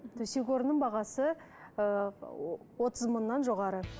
төсек орынның бағасы ы отыз мыңнан жоғары